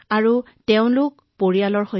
লগতে তেওঁলোকৰ সম্পূৰ্ণ পৰিয়াল আহিছিল